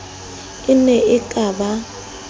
e ne e ka ba